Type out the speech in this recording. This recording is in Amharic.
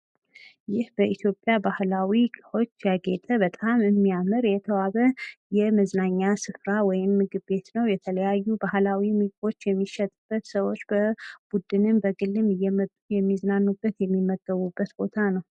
ይህ በኢትዮጵያ ባህል ያጌጠ በጣም የሚያምር የተዋበ የመዝናኛ ስራ ወይም ምግብ ቤት ነው። የተለያዩ ባህላዊ ምግቦች የሚሸጡበት ሰዎች በቡድንም በግልም የሚዝናኑበት የሚገቡበት ቦታ ነው።